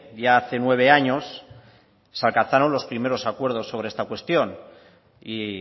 ya hace nueve años se alcanzaron los primeros acuerdos sobre esta cuestión y